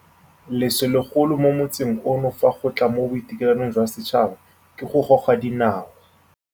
Leso legolo mo motsing ono fa go tla mo boitekanelong jwa setšhaba ke go goga dinao.